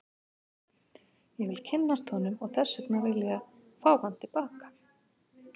Ég vil kynnast honum og þess vegna vil ég fá hann til baka.